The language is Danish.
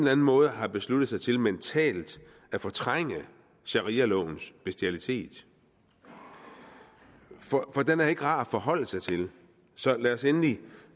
anden måde har besluttet sig til mentalt at fortrænge sharialovens bestialitet for den er ikke rar at forholde sig til så lad os endelig